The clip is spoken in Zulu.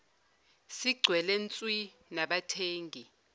sigcwele nswi nabathengi